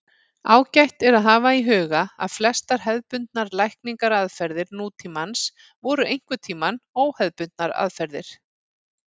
Ágætt er að hafa í huga að flestar hefðbundnar lækningaraðferðir nútímans voru einhverntíma óhefðbundnar aðferðir.